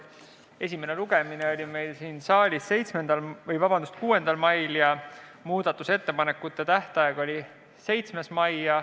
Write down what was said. Esimene lugemine oli meil siin saalis 6. mail ja muudatusettepanekute esitamise tähtaeg oli 7. mai.